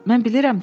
Mən bilirəm.